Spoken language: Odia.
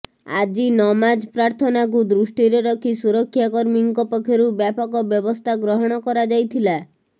ଆଜି ନମାଜ ପ୍ରାର୍ଥନାକୁ ଦୃଷ୍ଟିରେ ରଖି ସୁରକ୍ଷାକର୍ମୀଙ୍କ ପକ୍ଷରୁ ବ୍ୟାପକ ବ୍ୟବସ୍ଥା ଗ୍ରହଣ କରାଯାଇଥିଲା